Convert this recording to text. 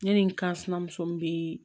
Ne ni n kansuma muso bɛ